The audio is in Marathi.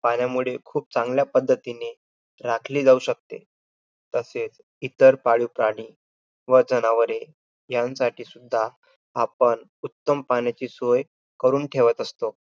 पाण्यामुळे खूप चांगल्या पद्धतीने राखली जाऊ शकते. तसेच इतर पाळीव प्राणी व जनावरे ह्यांसाठी सुद्धा आपण उत्तम पाण्याची सोय करून ठेवत असतो.